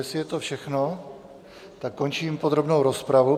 Jestli je to všechno, tak končím podrobnou rozpravu.